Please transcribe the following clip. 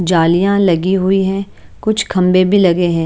जालियाँ लगी हुई हैं कुछ खम्भे भी लगे हुए हैं।